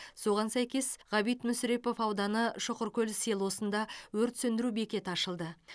соған сәйкес ғабит мүсірепов ауданы шұқыркөл селосында өрт сөндіру бекеті ашылды